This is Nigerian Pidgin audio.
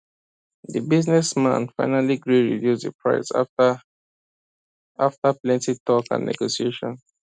the business man finally gree reduce the price after after plenty talk and negotiation